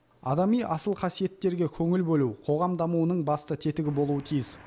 адами асыл қасиеттерге көңіл бөлу қоғам дамуының басты тетігі болуы тиіс